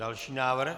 Další návrh.